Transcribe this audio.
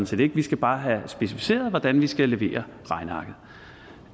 set ikke de skal bare have specificeret hvordan de skal levere regnearket